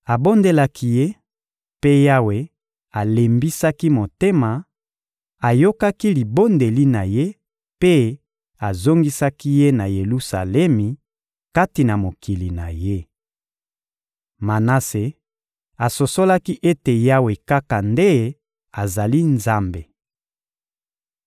Abondelaki Ye, mpe Yawe alembisaki motema, ayokaki libondeli na ye mpe azongisaki ye na Yelusalemi, kati na mokili na ye. Manase asosolaki ete Yawe kaka nde azali Nzambe.